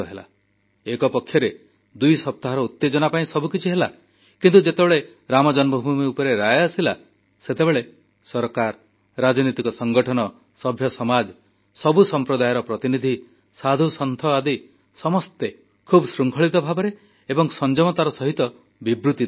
ଗୋଟିଏ ପଟେ ଦୁଇ ସପ୍ତାହର ଉତେଜନା ପାଇଁ ସବୁକିଛି ହେଲା କିନ୍ତୁ ଯେତେବେଳେ ରାମ ଜନ୍ମଭୂମି ଉପରେ ରାୟ ଆସିଲା ସେତେବେଳେ ସରକାର ରାଜନୈତିକ ସଂଗଠନ ସଭ୍ୟ ସମାଜ ସବୁ ସମ୍ପ୍ରଦାୟର ପ୍ରତିନିଧି ସାଧୁସନ୍ଥ ଆଦି ସମସ୍ତେ ଖୁବ୍ ଶୃଙ୍ଖଳିତ ଭାବରେ ଏବଂ ସଂଯମତାର ସହିତ ବିବୃତ୍ତି ଦେଲେ